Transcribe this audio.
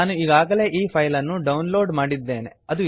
ನಾನು ಈಗಾಗಲೇ ಈ ಫೈಲ್ ಅನ್ನು ಡೌನ್ ಲೋಡ್ ಮಾಡಿದ್ದೇನೆ